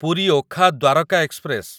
Puri Okha Dwarka express